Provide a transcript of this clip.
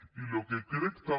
i el que crec també